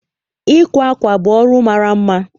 Ịkwa akwa bụ ọrụ mara mma